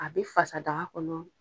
A bɛ fasa daga kɔnɔ.